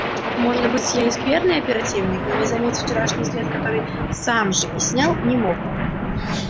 может быть я и скверный оперативник но не заметить вчерашний след который сам же и снял не мог